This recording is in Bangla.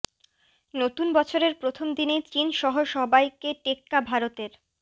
নতুন বছরের প্রথম দিনেই চিন সহ সবাইকে টেক্কা ভারতের